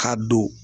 Ka don